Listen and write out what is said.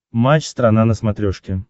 матч страна на смотрешке